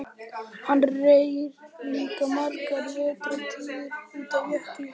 Hann reri líka margar vertíðir út af Jöklinum.